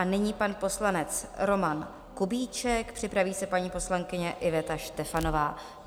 A nyní pan poslanec Roman Kubíček, připraví se paní poslankyně Iveta Štefanová.